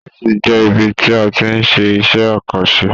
Ọ̀fiísí jẹ ibì tí a tí n ṣe iṣẹ àkànṣe.